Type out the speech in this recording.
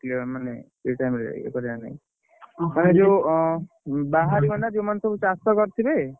ମାନେ ଏଇ time ରେ ଇଏକରିବା ନାଇଁ ମାନେ ଯୋଉ ବାହାରେ ମାନେ ନା ଯୋଉମାନେ ସବୁ ଚାଷ କରିଥବେ,